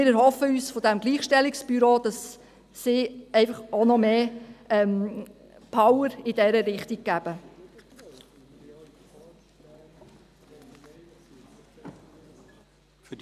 Wir erhoffen uns vom Gleichstellungsbüro, dass noch mehr Power in diese Richtung gegeben wird.